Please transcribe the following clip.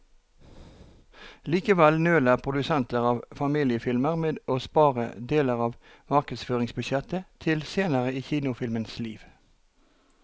Likevel nøler produsenter av familiefilmer med å spare deler av markedsføringsbudsjettet til senere i kinofilmens liv.